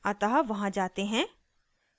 अतः वहाँ जाते हैं